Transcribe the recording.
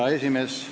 Hea esimees!